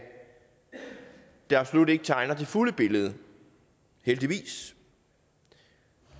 det absolut ikke tegner det fulde billede heldigvis